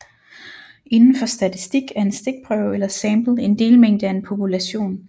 Indenfor statistik er en stikprøve eller sample en delmængde af en population